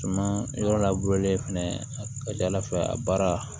Suma yɔrɔ la fɛnɛ a ka ca ala fɛ a baara